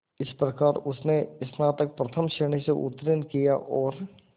इस प्रकार उसने स्नातक प्रथम श्रेणी से उत्तीर्ण किया और